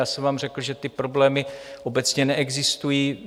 Já jsem vám řekl, že ty problémy obecně neexistují.